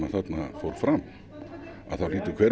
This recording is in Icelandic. þarna fór fram þá hlýtur hver